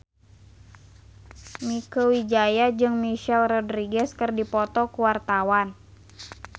Mieke Wijaya jeung Michelle Rodriguez keur dipoto ku wartawan